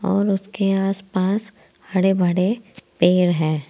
और उसके आस पास हरे भरे पेड़ हैं।